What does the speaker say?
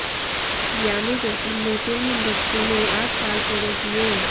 यामी गौतम ने film industry में आठ साल पूरे किए